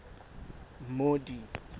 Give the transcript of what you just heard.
maudi